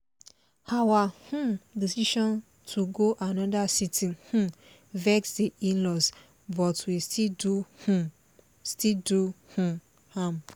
our um decision to go another city um vex the in-laws but we still do um still do um am